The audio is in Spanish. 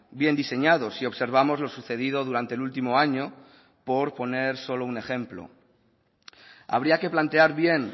bien diseñado si observamos lo sucedido durante el último año por poner solo un ejemplo habría que plantear bien